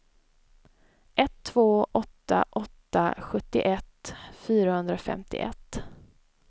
ett två åtta åtta sjuttioett fyrahundrafemtioett